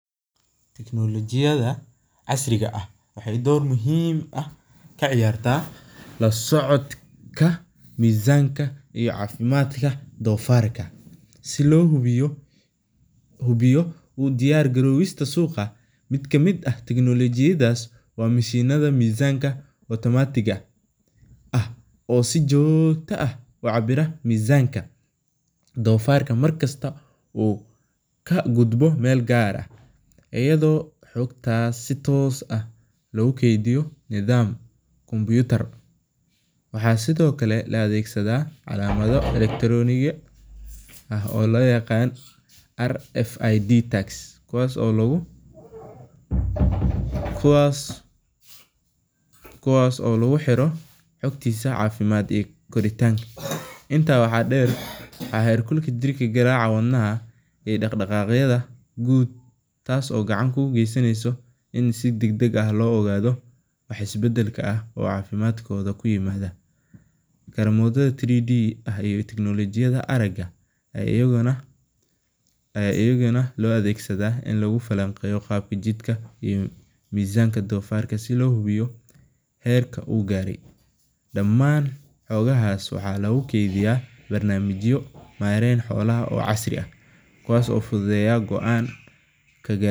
Teknolojiyada casriga ah waxeey door muhiim ah kaciyaartaa cafimaadka doofarta, waxaa kamid ah mishinaha mizaanka, markasta uu kagudbo meel gaar ah, waxaa sido kale la adeegsadaa calamada, kuwaas oo lagu xiro xogtiisa cafimaad, jirka garaaca wadnaha, teknolojiyada ayaa iyagauna loo adeegsadaa in lagu falanqeeno mizaanka doofarka, kuwaas oo fududeeya.